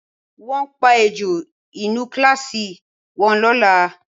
Wọ́n máa pa ejò inú kíláàsì wọn lọ́la